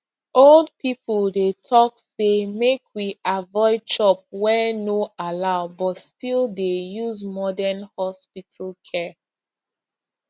old people dey talk say make we avoid chop wey no allow but still dey use modern hospital care